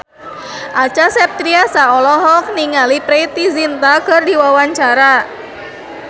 Acha Septriasa olohok ningali Preity Zinta keur diwawancara